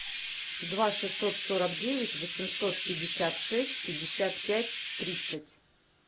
два шестьсот сорок девять восемьсот пятьдесят шесть пятьдесят пять тридцать